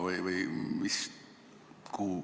Või on see samaks jäänud?